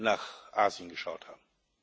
nach Asien geschaut haben.